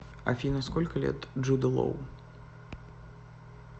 афина сколько лет джуду лоу